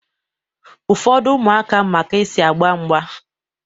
Ụfọdụ ụmụaka ma ka-esi agba mgba